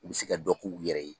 U bɛ se ka dɔ k'u yɛrɛ ye.